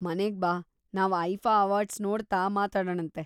ಮನೆಗ್ಬಾ, ನಾವ್‌ IIFA awards ನೋಡ್ತಾ ಮಾತಾಡಣಂತೆ.